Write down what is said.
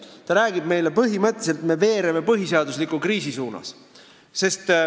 Sisuliselt ta räägib meile sellest, et me veereme põhiseadusliku kriisi suunas.